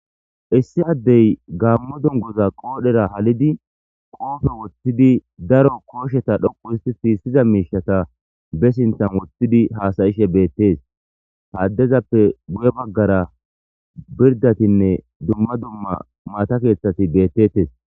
Issi addey gaammo dungoza qoodhera halidi qoofe woththidi daro koosheta dhoqu isti siissiza miishata be sinthan woththidi haasayishe beettees haaddezappe buye baggara pirdatinne dumma dumma maata keeththati beettettes.